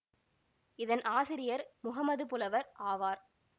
இதன் ஆசிரியர் முஹம்மது புலவர் ஆவார்